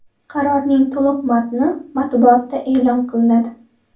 Qarorning to‘liq matni matbuotda e’lon qilinadi.